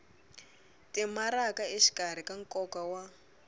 timaraka exikarhi ka nkoka wa